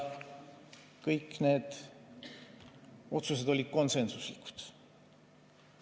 Kõik need otsused olid konsensuslikud.